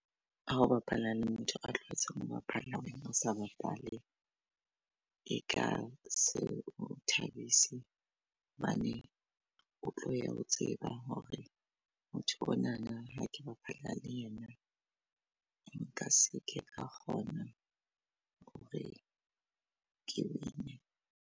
A bapala le motho a tlwaetseng ho bapala wena o sa bapale e ka seo thabise hobane o tlo ya o tseba hore motho onana ha ke bapala le yena nka se ke ra kgona hore ke win-e.